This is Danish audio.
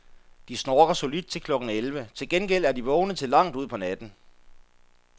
De snorker solidt til klokken elleve, til gengæld er de vågne til langt ud på natten.